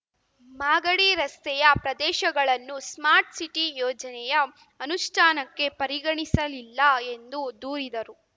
ಮಾಗಡಿ ರಸ್ತೆಯ ಪ್ರದೇಶಗಳನ್ನು smart city ಯೋಜನೆಯ ಅನುಷ್ಠಾನಕ್ಕೆ ಪರಿಗಣಿಸಲಿಲ್ಲ ಎಂದು ದೂರಿದರು